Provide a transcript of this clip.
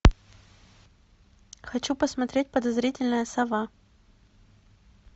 хочу посмотреть подозрительная сова